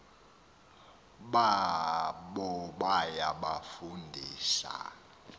babo baya kubafundisa